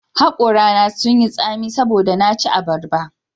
Hakorana sun yi tsami saboda na ci abarba